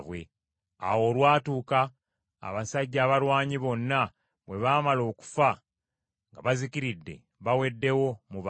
Awo olwatuuka abasajja abalwanyi bonna bwe baamala okufa, nga bazikiridde baweddewo mu bantu,